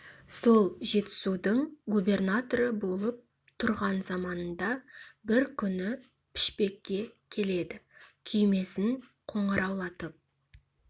сол жетісудың губернаторы болып тұрған заманында бір күні пішпекке келеді күймесін қоңыраулатып